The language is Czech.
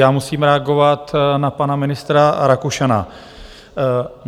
Já musím reagovat na pana ministra Rakušana.